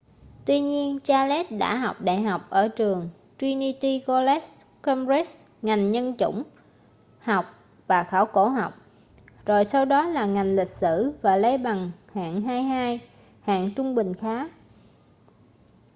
tuy nhiên charles đã học đại học ở trường trinity college cambridge ngành nhân chủng học và khảo cổ học rồi sau đó là ngành lịch sử và lấy bằng hạng 2:2 hạng trung bình khá